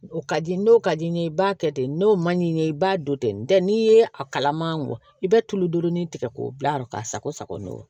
O ka di n'o ka di n ye i b'a kɛ ten n'o ma di n ye i b'a don ten n tɛ n'i ye a kalaman bɔ i bɛ tuludurun tigɛ k'o bila k'a sago sago n'o ye